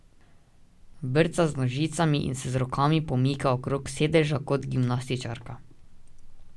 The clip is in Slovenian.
Brca z nožicami in se z rokami pomika okrog sedeža kot gimnastičarka.